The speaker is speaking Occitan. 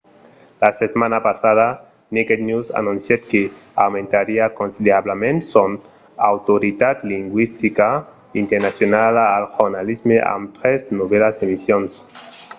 la setmana passada naked news anoncièt que aumentariá considerablament son autoritat lingüistica internacionala al jornalisme amb tres novèlas emissions